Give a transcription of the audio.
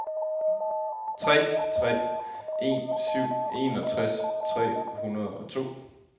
tre tre en syv enogtres tre hundrede og to